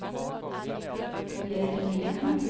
Bjørg Nyheim